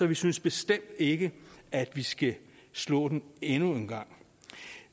vi synes bestemt ikke at vi skal slå den endnu en gang